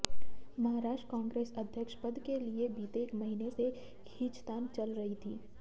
महाराष्ट्र कांग्रेस अध्यक्ष पद के लिए बीते एक महीने से खींचतान चल रही थी